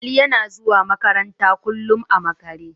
Ali yana zuwa makaranta kullum a makare.